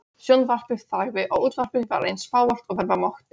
Þeir eru byrjaðir að smíða dúfnakofa.